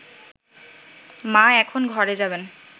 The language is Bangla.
মা এখন ঘরে যাবেন